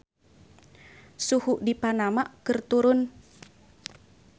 Suhu di Panama keur turun